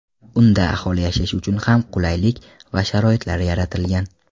Unda aholi yashashi uchun hamma qulaylik va sharoitlar yaratilgan.